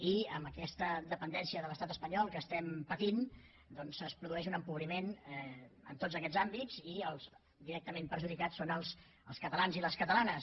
i amb aquesta dependència de l’estat espanyol que estem patint es produeix un empobriment en tots aquests àmbits i els directament perjudicats són els catalans i les catalanes